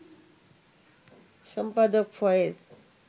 সম্পাদক ফয়েজ